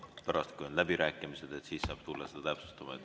Pärast, kui on läbirääkimised, siis saab tulla seda täpsustama.